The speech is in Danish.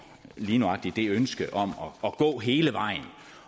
lige nøjagtig det ønske om at gå hele vejen